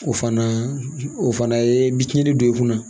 O fana o fana ye bi tiɲɛni don i kunna